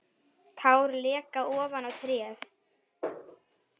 Tár leka ofan á letrið.